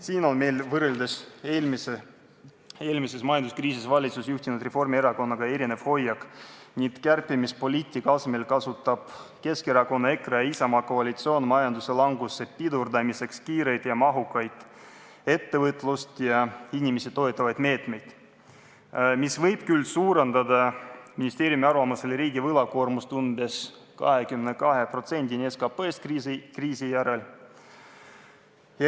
Siin on meil võrreldes eelmises majanduskriisis valitsust juhtinud Reformierakonnaga erinev hoiak ning kärpimispoliitika asemel kasutab Keskerakonna, EKRE ja Isamaa koalitsioon majanduse languse pidurdamiseks kiireid ja mahukaid ettevõtlust ja inimesi toetavaid meetmeid, mis võib küll ministeeriumi arvates riigi võlakoormust suurendada umbes 22%-ni SKT-st kriisi järel.